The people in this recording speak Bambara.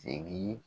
Segin